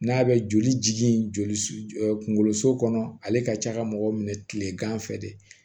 N'a bɛ joli jigin joli su ɛ kungolo so kɔnɔ ale ka ca ka mɔgɔw minɛ kilegan fɛ de